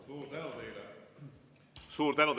Suur tänu teile!